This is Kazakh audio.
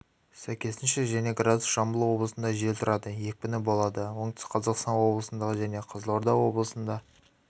сәйкесінше және градус жамбыл облысында жел тұрады екпіні болады оңтүстік қазақстан облысында және қызылорда облысында